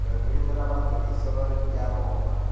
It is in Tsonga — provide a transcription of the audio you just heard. ririmi na matirhiselo ya rona